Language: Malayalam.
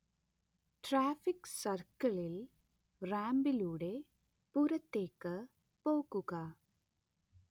ട്രാഫിക് സർക്കിളിൽ, റാമ്പിലൂടെ പുറത്തേക്ക് പോകുക